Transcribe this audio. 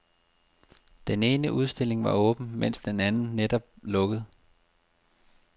Den ene udstilling var åben, men den anden var netop lukket.